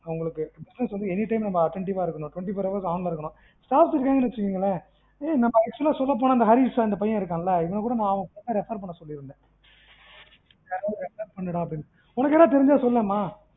உங்களுக்கு business வந்து anytime வந்து attentive ஆ இருக்கணும். twenty four hour on ல இருக்கணும் staff இருக்காங்கன்னு வச்சுக்கங்களேன் ஏய் நம்ம actual ஆஹ் சொல்லப்போனா ஹரிஸ் அந்த பையன் இருக்கான்ல இவனைக்கூட ஆஹ் உனக்கு யாரும் தெரிஞ்சா refer பண்ண சொல்லி இருந்தன் யாராது refer பண்ணுடான்னு, உனக்கு யாரோ தெரிஞ்சா சொல்லு மா